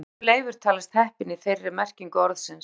Líklega hefur Leifur talist heppinn í þeirri merkingu orðsins.